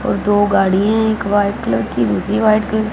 और दो गाड़ियां हैं एक वाइट कलर की दूसरी व्हाइट --